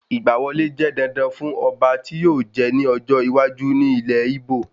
Ìgbà wọlé jẹ́ dandan fún Ọba tí yíò jẹ ní ọjọ́ iwájú ní ilẹ Íbò